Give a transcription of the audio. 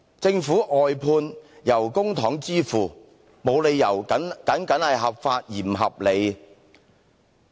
政府的外判工作由公帑支付費用，沒理由僅僅合法而不合理。